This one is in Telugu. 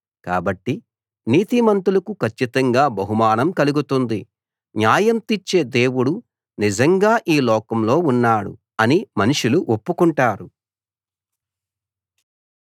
కాబట్టి నీతిమంతులకు కచ్చితంగా బహుమానం కలుగుతుంది న్యాయం తీర్చే దేవుడు నిజంగా ఈ లోకంలో ఉన్నాడు అని మనుషులు ఒప్పుకుంటారు